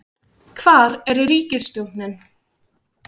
hvar er ríkisstjórnin?